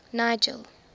nigel